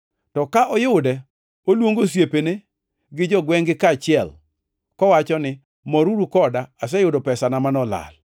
To ka oyude, oluongo osiepene gi jogwengʼ-gi kaachiel, kowacho ni, ‘Moruru koda, aseyudo pesana manolal.’